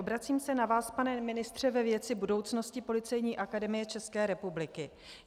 Obracím se na vás, pane ministře, ve věci budoucnosti Policejní akademie České republiky.